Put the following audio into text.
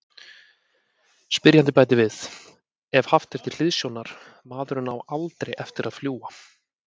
Spyrjandi bætir við: Ef haft er til hliðsjónar:.maðurinn á ALDREI eftir að fljúga.